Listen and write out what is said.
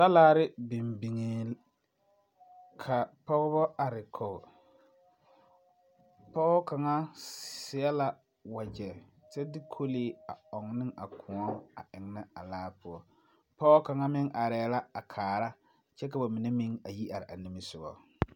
Talaare biŋee la ka pɔgeba are kɔŋe pɔge kaŋa seɛ la wagyɛ kyɛ de kolaa a ɔŋnɔ a koɔ eŋnɛ a laa poɔ pɔge kaŋa arɛɛ la a kaara kyɛ ka ba mine yi are a nimisogɔge